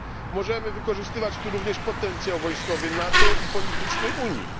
Możemy wykorzystywać tu również potencjał wojskowy NATO i polityczny Unii.